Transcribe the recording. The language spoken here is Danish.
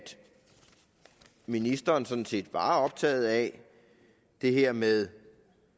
ministeren sådan set var optaget af det her med